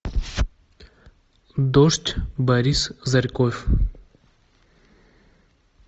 дождь борис зарьков